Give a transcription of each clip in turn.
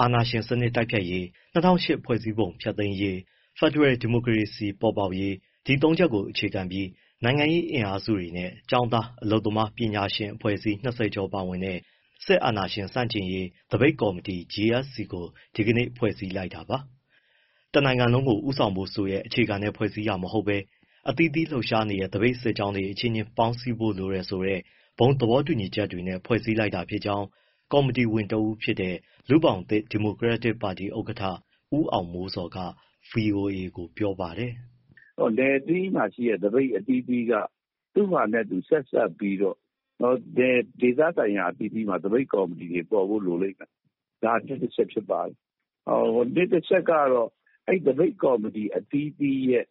အာဏာရှင်စနစ်တိုက်ဖျက်ရေး၊ ၂၀၀၈ ဖွဲ့စည်းပုံ ဖျက်သိမ်းရေး၊ ဖက်ဒရယ် ဒီမိုကရေစီ ပေါ်ပေါက်ရေး ဒီသုံးချက်ကို အခြေခံပြီး နိုင်ငံရေးအင်အားစုတွေနဲ့ ကျောင်းသား၊ အလုပ်သမား၊ ပညာရှင်အဖွဲ့အစည်း ၂၀ ကျော်ပါဝင်တဲ့ စစ်အာဏာရှင်ဆန့်ကျင်ရေး သပိတ်ကော်မတီ GSC (General Strike Committee) ကို ဒီနေ့ ဖွဲ့စည်းလိုက်တာပါ။ တနိုင်ငံလုံးကို ဦးဆောင်ဖို့ဆိုတဲ့ အခြေခံနဲ့ ဖွဲ့စည်းတာမဟုတ်ဘဲ အသီးသီး လှုပ်ရှားနေတဲ့ သပိတ်စစ်ကြောင်းတွေ အချင်းချင်း ပေါင်းစည်းဖို့လိုတယ်ဆိုတဲ့ ဘုံသဘောတူညီချက်တွေနဲ့ ဖွဲ့စည်းလိုက်တာဖြစ်ကြောင်း ကော်မတီဝင်တဦးဖြစ်တဲ့ လူ့ဘောင်သစ် ဒီမိုကရက်တစ်ပါတီ ဥက္ကဋ္ဌ ဦးအောင်မိုးဇော်က ဗွီအိုအေကို ပြောပါတယ်။ “နယ်အသီးသီးမှာရှိတဲ့ သပိတ်အသီးသီးက သူ့ဟာသူ ဆက်စပ်ပြီးတော့ ဒေသဆိုင်ရာ အသီးသီးမှာ သပိတ်ကော်မတီတွေ ပေါ်ဖို့လိုလိမ့်မယ်၊ ဒါ ၁ အချက်။ ၂ အချက်ကတော့ သပိတ်ကော်မတီ အသီးသီးရဲ့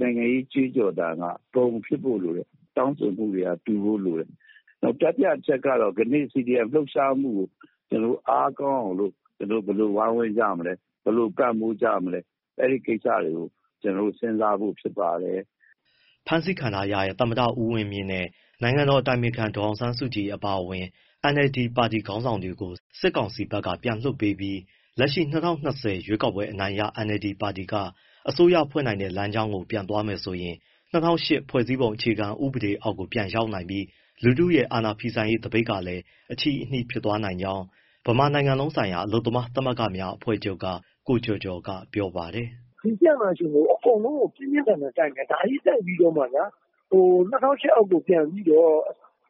နိုင်ငံရေး ကြွေးကြော်သံက ဘုံဖြစ်ဖို့လိုတယ်၊ တောင်းဆိုမှုတွေက တူဖို့လိုတယ်။ နောက် တတိယ အချက်ကတော့ ကနေ့ CDM လှုပ်ရှားမှုကို ကျနော်တို့ အားကောင်းအောင်လို့ ဘယ်လိုဝိုင်းဝန်းကြမလဲ၊ ဘယ်လိုပံ့ပိုးကြမလဲ၊ အဲဒီကိစ္စတွေကို ကျနော်တို့ စဉ်းစားဖို့ ဖြစ်ပါတယ်။” ဖမ်းဆီးခံထားရတဲ့ သမ္မတဦးဝင်းမြင့်နဲ့ နိုင်ငံတော်အတိုင်ပင်ခံ ဒေါ်အောင်ဆန်းစုကြည် အပါအဝင် NLD ပါတီ ခေါင်းဆောင်တွေကို စစ်ကောင်စီဘက်က ပြန်လွှတ်ပြီး လက်ရှိ ၂၀၂၀ ရွေးကောက်ပွဲအနိုင်ရ NLD ပါတီက အစိုးရဖွဲ့တဲ့ လမ်းကြောင်းကို ပြန်သွားမယ်ဆိုရင် ၂၀၀၈ ဖွဲ့စည်းပုံ အခြေခံဥပဒေအောက်ကို ပြန်ရောက်နိုင်ပြီး လူထုရဲ့ အာဏာဖီဆန်ရေး သပိတ်ကလည်း အချည်းအနှီး ဖြစ်သွားနိုင်ကြောင်း ဗမာနိုင်ငံလုံးဆိုင်ရာ အလုပ်သမားသမဂ္ဂများ အဖွဲ့ချုပ်က ကိုကျော်ကျော်က ပြောပါတယ်။ “စစ်အာဏာရှင်ကို အကုန်လုံးက ပြင်းပြင်းထန်ထန် တိုက်နေတာ၊ ဒါကြီးတိုက်ပြီးတော့မှဗျာ ၂၀၀၈ အောက်ကို ပြန်ပြီးတော့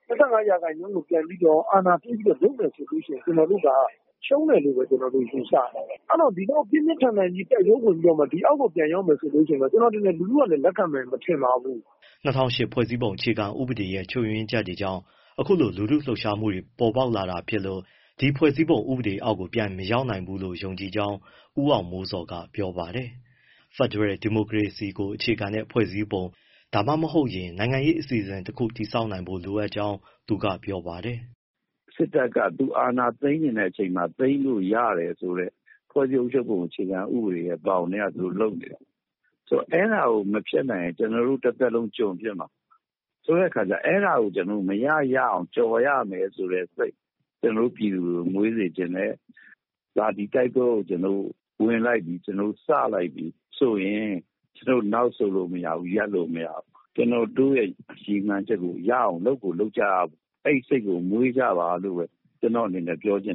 ၊ ၂၅ ရာခိုင်နှုန်းကို ပြန်ပြီးတော့ အာဏာပေးပြီး လုပ်မယ်ဆိုရင် ကျနော်တို့က ရှုံးမယ်လို့ပဲ ယူဆတယ်။ အဲဒီတော့ ဒီလောက် ပြင်းပြင်းထန်ထန် တိုက်ပွဲဝင်ပြီးတော့ ဒီအောက်ကို ပြန်ရောက်မယ်ဆိုရင် ကျနော်ထင်တယ် လူထုကလည်း လက်ခံမယ် မထင်ပါဘူး။” ၂၀၀၈ ဖွဲ့စည်းပုံအခြေခံဥပဒေရဲ့ ချွတ်ယွင်းချက်တွေကြောင့် အခုလို လူထုလှုပ်ရှားမှုတွေ ပေါ်ပေါက်လာတာဖြစ်လို့ ဒီဖွဲ့စည်းပုံဥပဒေအောက်ကို ပြန်မရောက်နိုင်ဘူးလို့ ယုံကြည်ကြောင်း ဦးအောင်မိုးဇော်က ပြောပါတယ်။ ဖက်ဒရယ်ဒီမိုကရေစီကို အခြေခံတဲ့ ဖွဲ့စည်းပုံတခု ဒါမှမဟုတ် နိုင်ငံရေး အစီအစဉ်တခု တည်ဆောက်နိုင်ဖို့လိုကြောင်း သူကပြောပါတယ်။ “စစ်တပ်က သူအာဏာသိမ်းချင်တဲ့အချိန်မှာ သိမ်းလို့ရတယ်ဆိုတဲ့ ဖွဲ့စည်းပုံဘောင်ထဲက သူတို့လုပ်နေတာ။ ဆိုတော့ အဲဒါကို မဖျက်နိုင်ရင် ကျနော်တို့ တသက်လုံး ကျွန်ဖြစ်မှာ။ ဆိုတော့ အဲဒါကို ကျနော်တို့ မရရအောင် ကျော်ရမယ်ဆိုတဲ့စိတ် ပြည်သူတွေကို မွေးစေချင်တယ်။ ဒါ ဒီတိုက်ပွဲကို ကျနော်တို့ ဝင်လိုက်ပြီ၊ စလိုက်ပြီဆိုရင် နောက်ဆုတ်လို့မရဘူး၊ ရပ်လို့မရဘူး၊ ကျနော်တို့ ရည်မှန်းချက်ကို ရအောင် လုပ်ကိုလုပ်ကြရမယ်။ အဲဒီစိတ်ကို မွေးကြပါလို့ ပြောချင်တ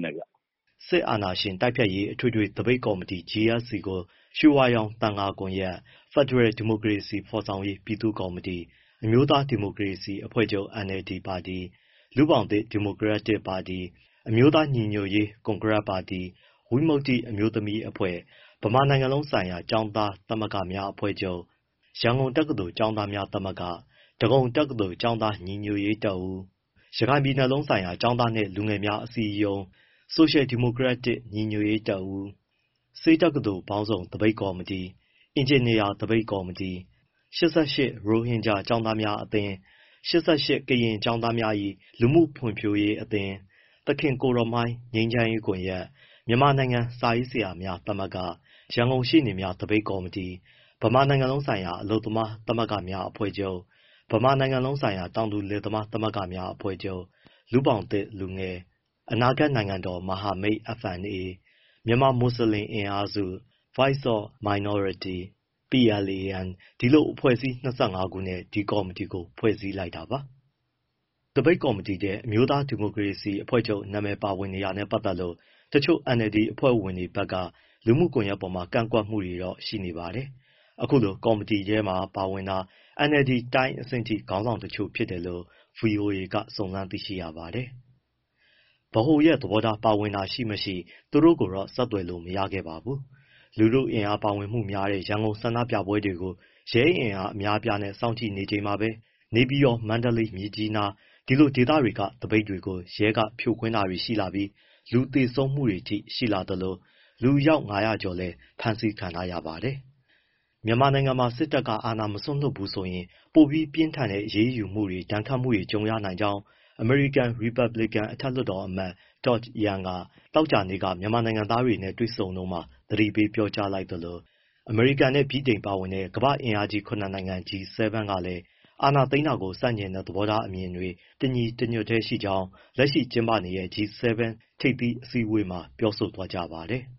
ယ်။” စစ်အာဏာရှင်တိုက်ဖျက်ရေး အထွေထွေသပိတ်ကော်မတီ GSC ကို ရွှေဝါရောင်သံဃာကွန်ရက်၊ ဖက်ဒရယ် ဒီမိုကရေစီ ဖော်ဆောင်ရေး ပြည်သူ့ကော်မတီ၊ အမျိုးသားဒီမိုကရေစီအဖွဲ့ချုပ် NLD၊ လူ့ဘောင်သစ် ဒီမိုကရက်တစ်ပါတီ၊ အမျိုးသားညီညွတ်ရေး ကွန်ဂရက်ပါတီ၊ ဝိမုတ္တိအမျိုးသမီးအဖွဲ့၊ ဗမာနိုင်ငံလုံးဆိုင်ရာ ကျောင်းသားသမဂ္ဂများ အဖွဲ့ချုပ်၊ ရန်ကုန်တက္ကသိုလ် ကျောင်းသားများသမဂ္ဂ၊ ဒဂုံတက္ကသိုလ် ကျောင်းသားညီညွတ်ရေးတပ်ဦး၊ ရခိုင်ပြည်လုံးဆိုင်ရာ ကျောင်းသားနှင့် လူငယ်များ အစည်းအရုံး၊ ဆိုရှယ်ဒီမိုကရက်တစ် ညီညွတ်ရေးတပ်ဦး၊ ဆေးတက္ကသိုလ်ပေါင်းစုံ သပိတ်ကော်မတီ၊ အင်ဂျင်နီယာ သပိတ်ကော်မတီ၊ ၈၈ ရိုဟင်ဂျာ ကျောင်းသားများအသင်း၊ ၈၈ ကရင်ကျောင်းသားများ၏ လူမှုဖွံ့ဖြိုးရေးအသင်း၊ သခင်ကိုယ်တော်မှိုင်း ငြိမ်းချမ်းရေးကွန်ရက်၊ မြန်မာနိုင်ငံ စာရေးဆရာများ သမဂ္ဂ၊ ရန်ကုန်ရှေ့နေများ သပိတ်ကော်မတီ၊ ဗမာနိုင်ငံလုံးဆိုင်ရာ အလုပ်သမားသမဂ္ဂများ အဖွဲ့ချုပ်၊ ဗမာနိုင်ငံလုံးဆိုင်ရာ တောင်သူလယ်သမား သမဂ္ဂများ အဖွဲ့ချုပ်၊ လူ့ဘောင်သစ်လူငယ်၊ အနာဂတ်နိုင်ငံတော် မဟာမိတ် FNA၊ မြန်မာမွတ်စလင် အင်အားစု၊ Voice of Minorities၊ PLAN ဒီလို အဖွဲ့အစည်း ၂၅ ခုနဲ့ ဒီကော်မတီကို ဖွဲ့စည်းလိုက်တာပါ။ ဒီသပိတ်ကော်မတီထဲ အမျိုးသားဒီမိုကရေစီအဖွဲ့ချုပ်အမည် ပါဝင်နေတာနဲ့ ပတ်သက်လို့ တချို့ NLD အဖွဲ့ဝင်တွေဘက်က လူမှုကွန်ရက်တွေပေါ် ကန့်ကွက်မှုတွေတော့ ရှိနေပါတယ်။ အခုကော်မတီထဲမှာ ပါဝင်တာ NLD တိုင်းအဆင့်အထိ ခေါင်းဆောင်တချို့ ဖြစ်တယ်လို့ ဗွီအိုအေက စုံစမ်းသိရပါတယ်။ ဗဟိုသဘောထား ပါဝင်တာရှိမရှိ သူတို့ကိုတော့ ဆက်သွယ်မေးမြန်းလို့ မရခဲ့ပါဘူး။ လူထုအင်အား ပါဝင်မှုများတဲ့ ရန်ကုန်ဆန္ဒပြပွဲတွေကို ရဲအင်အား အများအပြားနဲ့ စောင့်ကြည့်နေချိန်မှာပဲ နေပြည်တော်၊ မန္တလေး၊ မြစ်ကြီးနား ဒီဒေသတွေက သပိတ်တွေကို ရဲက ဖြိုခွင်းတာတွေရှိလာပြီး လူသေဆုံးမှုတွေအထိ ရှိလာသလို လူအယောက် ၅၀၀ ကျော်လည်း ဖမ်းဆီးခံထားရပါတယ်။ မြန်မာနိုင်ငံမှာ စစ်တပ်က အာဏာမစွန့်လွှတ်ဘူးဆိုရင် ပိုပြီးပြင်းထန်တဲ့ အရေးယူမှုတွေ၊ ဒဏ်ခတ်မှုတွေ ကြုံရနိုင်ကြောင်း အမေရိကန် ရီပတ်ဘလစ်ကန် အထက်လွှတ်တော်အမတ် Todd Young က သောကြာနေ့က မြန်မာနိုင်ငံသားတွေနဲ့ တွေ့ဆုံတုန်းမှာ သတိပေး ပြောကြားလိုက်သလို အမေရိကန်နဲ့ ဗြိတိန်ပါဝင်တဲ့ ကမ္ဘာ့အင်အားကြီး ၇ နိုင်ငံ G-7 ကလည်း အာဏာသိမ်းတာကို ဆန့်ကျင်တဲ့ သဘောထားအမြင်တွေ တညီတညွတ်တည်းရှိကြောင်း လက်ရှိကျင်းပနေတဲ့ G-7 ထိပ်သီးအစည်းအဝေးမှာ ပြောဆိုသွားကြပါတယ်။